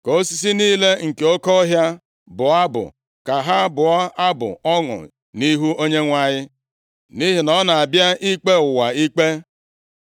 Ka osisi niile nke oke ọhịa bụọ abụ, ka ha bụọ abụ ọṅụ nʼihu Onyenwe anyị, nʼihi na ọ na-abịa ikpe ụwa ikpe.